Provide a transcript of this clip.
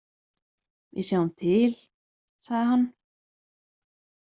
Við sjáum til, sagði hann.